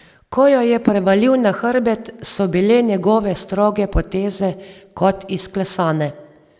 Ko jo je prevalil na hrbet, so bile njegove stroge poteze kot izklesane.